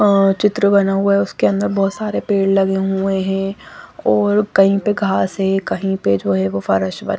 अ चित्र बना हुआ उसके अन्दर बहोत सारे पेड़ लगे हुए है और कही पे घास है और कही पे जो है वो--